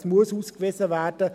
Es muss ausgewiesen werden.